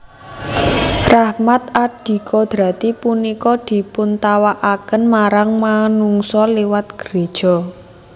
Rahmat adikodrati punika dipuntawakaken marang manungsa liwat gréja